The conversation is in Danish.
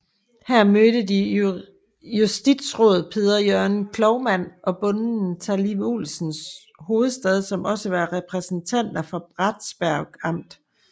Der mødte de justisråd Peder Jørgen Cloumann og bonden Talleiv Olsen Huvestad som også var repræsentanter for Bratsberg Amt